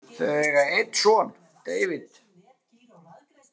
Þau eiga einn son David.